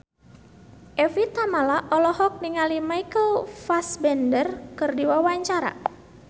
Evie Tamala olohok ningali Michael Fassbender keur diwawancara